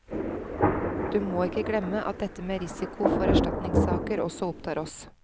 Du må ikke glemme at dette med risiko for erstatningssaker også opptar oss.